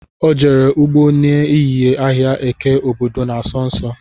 Ọ jere ụgbọ na ehihie ahịa eke obodo na-asọ nsọ